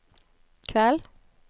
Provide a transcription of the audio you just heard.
kveld